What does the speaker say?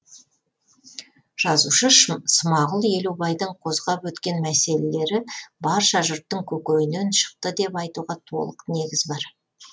жазушы смағұл елубайдың қозғап өткен мәселелері барша жұрттың көкейінен шықты деп айтуға толық негіз бар